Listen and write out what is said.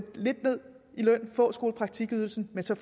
lidt ned i løn og få skolepraktikydelsen og så